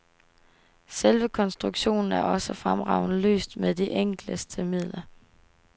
Selve konstruktionen er også fremragende løst med de enkleste midler.